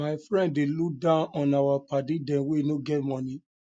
my friend dey look down on our paddy dem wey no get moni